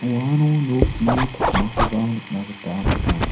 uano nokni pakmakoba nikna gita man·a.